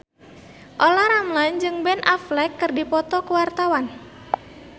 Olla Ramlan jeung Ben Affleck keur dipoto ku wartawan